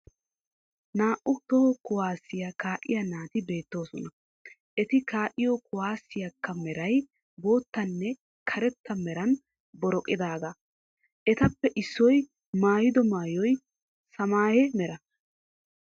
Naa"u toho kuwaasiya kaa'iya naati beettoosona. Eti kaa'iyo kuwaaseekka meray boottanne karetta meran boroqidaaga. Etappe issoy mayyido mayyoy samaayye Mera.